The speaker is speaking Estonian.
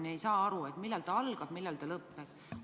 Me ei saa täpselt aru, millal see algab ja millal see lõpeb.